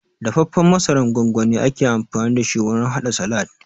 Dafaffen masarar gongoni ake amfani dashi wurin haɗa salad